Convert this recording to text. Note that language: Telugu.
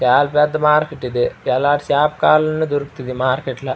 చాలా పెద్ద మార్కెట్ ఇది ఎలాటి చేప కావాలి అంటే అలాటిది చేప దొరుకుంది.